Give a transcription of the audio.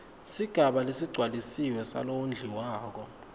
sigaba lesigcwalisiwe salowondliwako